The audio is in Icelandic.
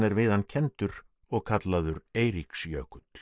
hann kenndur og kallaður Eiríksjökull